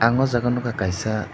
ang o jaga nogkha kaisa.